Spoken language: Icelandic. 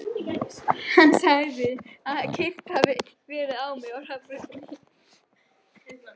Hann sagði að keyrt hefði verið á mig á hraðbrautinni.